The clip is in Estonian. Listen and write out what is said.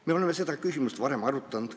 Me oleme seda küsimust varem arutanud.